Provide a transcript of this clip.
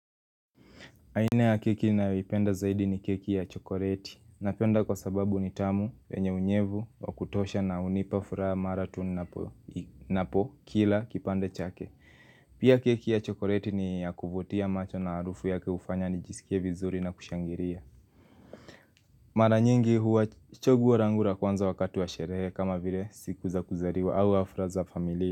Aina ya keki ninayopenda zaidi ni keki ya chokoreti Napenda kwa sababu ni tamu, wenye unyevu, wa kutosha na unipa furaha mara tu ninapo napo kila kipande chake Pia keki ya chokoreti ni ya kuvutia macho na harufu yake hufanya nijisikie vizuri na kushangiria Maranyingi huwa chaguo rangu ra kwanza wakati wa sherehe kama vile siku za kuzariwa au afra za familia.